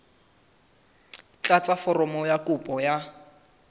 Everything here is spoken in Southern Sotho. tlatsa foromo ya kopo ya